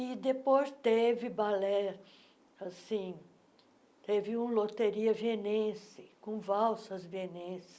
E depois teve balé assim, teve um loteria vienense, com valsas vienenses.